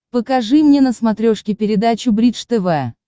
покажи мне на смотрешке передачу бридж тв